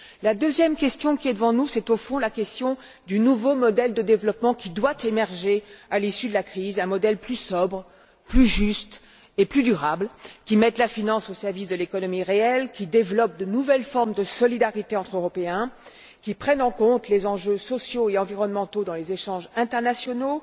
La deuxième question, c'est finalement la question du nouveau modèle de développement qui doit émerger à l'issue de la crise, un modèle plus sobre, plus juste et plus durable, qui mette la finance au service de l'économie réelle, qui développe de nouvelles formes de solidarité entre Européens, qui prenne en compte les enjeux sociaux et environnementaux dans les échanges internationaux